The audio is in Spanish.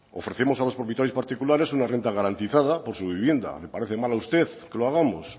ofrecemos a los propietarios particulares una renta garantizada por su vivienda le parece mala a usted que lo hagamos